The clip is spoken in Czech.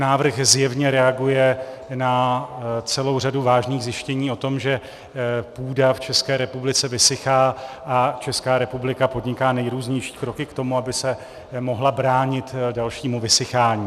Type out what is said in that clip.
Návrh zjevně reaguje na celou řadu vážných zjištění o tom, že půda v České republice vysychá, a Česká republika podniká nejrůznější kroky k tomu, aby se mohla bránit dalšímu vysychání.